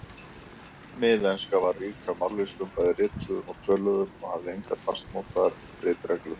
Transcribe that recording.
Miðenska var rík af mállýskum, bæði rituðum og töluðum, og hafði engar fastmótaðar ritreglur.